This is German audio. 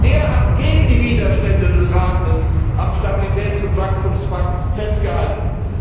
Der hat gegen die Widerstände des Rates am Stabilitäts und Wachstumspakt festgehalten.